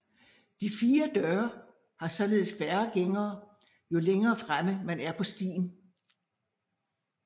De Fire Døre har således færre gængere jo længere fremme man er på stien